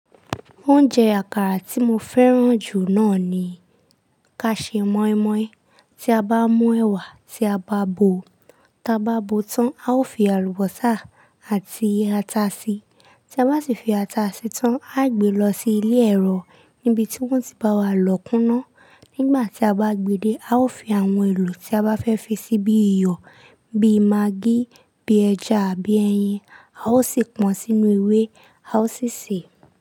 Oúnjẹ àkàrà tí mo fẹ́ràn jù náà ni ka ṣe moin-moin. Tí a bá mú ẹwà, tí a bá bo, tí a bá bo tán, a ó fi àlùbọ́sà àti ata sí. Tí a bá ti fi ata sí tán, a gbé lọ sí ilé ẹ̀rọ níbi tí wọ́n ti bá wa lọ̀ kúná. Nígbà tí a bá gbé dé, a ó fi àwọn èlò tí a bá fẹ́ fi sí bí iyọ̀, bí magí, bí ẹja àbí ẹyin, a ó sì pọn sínú ewé, a ó sì sèé.